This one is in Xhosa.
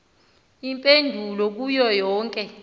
iimpendulo kuyo yonke